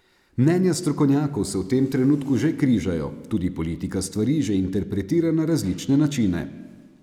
Mnenja strokovnjakov se v tem trenutku že križajo, tudi politika stvari že interpretira na različne načine.